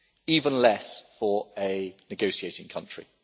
even less for a negotiating country.